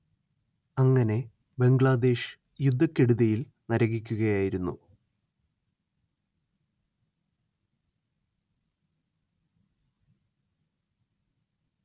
അങ്ങനെ ബംഗ്ലാദേശ് യുദ്ധക്കെടുതിയിൽ നരകിക്കുകയായിരുന്നു